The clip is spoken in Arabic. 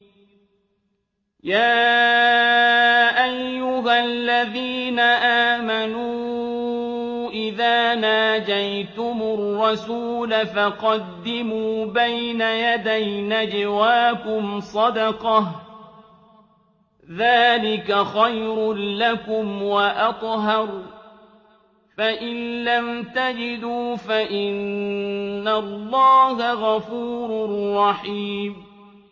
يَا أَيُّهَا الَّذِينَ آمَنُوا إِذَا نَاجَيْتُمُ الرَّسُولَ فَقَدِّمُوا بَيْنَ يَدَيْ نَجْوَاكُمْ صَدَقَةً ۚ ذَٰلِكَ خَيْرٌ لَّكُمْ وَأَطْهَرُ ۚ فَإِن لَّمْ تَجِدُوا فَإِنَّ اللَّهَ غَفُورٌ رَّحِيمٌ